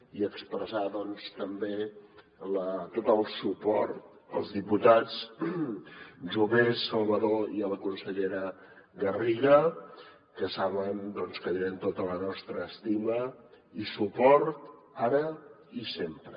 i expressar doncs també tot el suport als diputats jové salvadó i a la consellera garriga que saben que tenen tota la nostra estima i suport ara i sempre